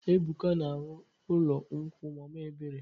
Ebuka na-arụ ụlọ nkwụ mama ebere.